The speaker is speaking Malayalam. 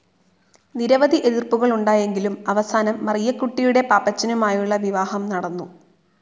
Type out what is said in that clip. നിരവധി എതിർ‌പ്പുകളുണ്ടായെങ്കിലും അവസാനം മറിയക്കുട്ടിയുടെ പാപ്പച്ചനുമായുളള വിവാഹം നടന്നു.